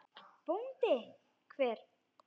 BÓNDI: Hver?